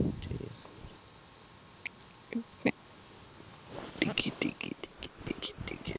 ticket ticket